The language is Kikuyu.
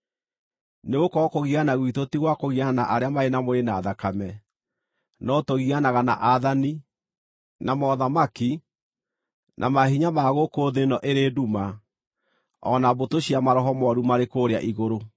Nĩgũkorwo kũgiana gwitũ ti gwa kũgiana na arĩa marĩ na mwĩrĩ na thakame, no tũgianaga na aathani, na mothamaki, na maahinya ma gũkũ thĩ ĩno ĩrĩ nduma, o na mbũtũ cia maroho mooru marĩ kũrĩa igũrũ.